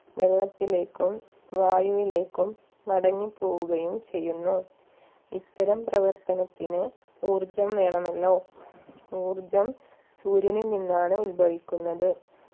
വെള്ളത്തിലേക്കും വായുവിലേക്കും മടങ്ങി പോവുകയും ചെയ്യുന്നു ഇത്തരം പ്രവർത്തനത്തിന് ഊർജ്ജം വേണമല്ലോ ഊർജ്ജം സൂര്യനിൽ നിന്നാണ് ഉത്ഭവിക്കുന്നത്